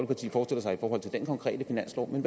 og hvad til dén konkrete finanslov men